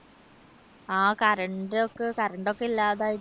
ആ current ഒക്കെ current ഒക്കെ ഇല്ലാതായിട്ട്